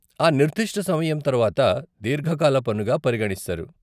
ఆ నిర్దిష్ట సమయం తరవాత దీర్ఘకాల పన్నుగా పరిగణిస్తారు.